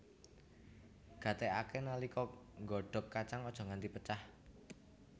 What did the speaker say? Gatékaké nalika nggodhog kacang aja nganti pecah